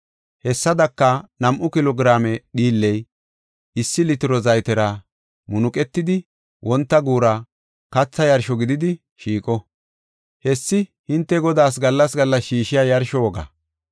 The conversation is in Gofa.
Hessadaka nam7u kilo giraame dhiilley issi litiro zaytera munuqetidi, wonta guura katha yarsho gididi shiiqo. Hessi hinte Godaas gallas gallas shiishiya yarsho wogaa.